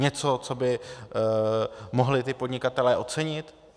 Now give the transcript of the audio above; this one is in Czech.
Něco, co by mohli ti podnikatelé ocenit?